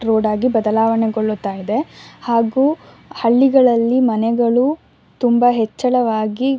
road ಆಗಿ ಬದಲಾವಣೆಗೊಳ್ಳುತ್ತಾ ಇದೆ ಹಾಗು ಹಳ್ಳಿಗಳಲ್ಲಿ ಮನೆಗಳು ತುಂಬಾ ಹೆಚ್ಚಳವಾಗಿ --